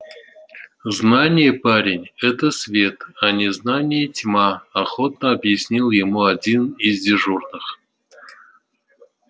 знание парень это свет а незнание тьма охотно объяснил ему один из дежурных